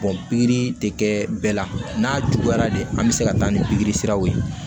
pikiri de kɛ bɛɛ la n'a juguyara de an bɛ se ka taa ni pikiri siraw ye